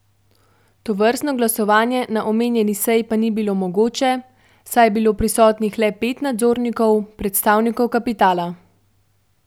Tovrstno glasovanje na omenjeni seji pa ni bilo mogoče, saj je bilo prisotnih le pet nadzornikov, predstavnikov kapitala.